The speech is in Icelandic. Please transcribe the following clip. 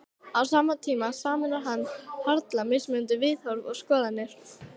Á sama tíma sameinar hann harla mismunandi viðhorf og skoðanir.